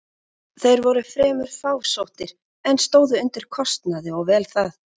Þeir voru fremur fásóttir, en stóðu undir kostnaði og vel það.